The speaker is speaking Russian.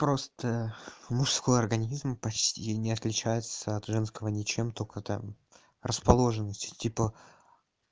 просто мужской организм почти не отличается от женского ничем только это расположенностью типа